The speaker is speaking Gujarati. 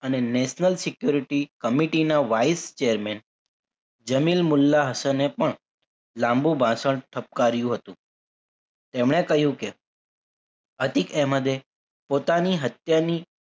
અને national security committee ના wise chairman જમીલ મુલ્લાં હસને પણ લાંબુ ભાષણ ઠપકર્યું હતું એમણે કહ્યું કે અતિક અહેમદે પોતાની હત્યાની